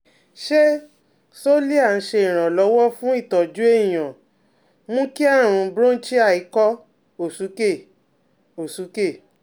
Ṣé Xolair ńse iranlowo fun itoju èèyàn mú kí àrùn bronchial ikọ́ òsúkè òsúkè